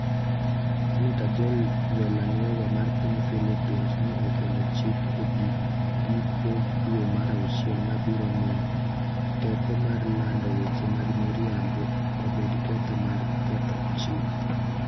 Senator Joel Villanueva mar piny Philippines ne okelo chik e giko dwe mar auchiel mabiro miyo "teko mar lando weche mag miriambo" obed ketho mar ketho chik.